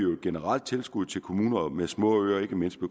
generelt tilskuddet til kommuner med små øer ikke mindst